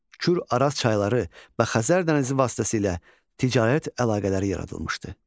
Kür-Araz çayları və Xəzər dənizi vasitəsilə ticarət əlaqələri yaradılmışdı.